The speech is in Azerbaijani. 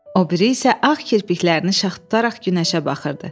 O biri isə ağ kirpiklərini şax tutaraq günəşə baxırdı.